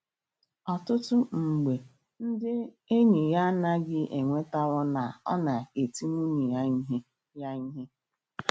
Ọtụtụ um mgbe ndị enyi ya anaghị enwetaw na ọ na-eti nwunye ya ihe. ya ihe.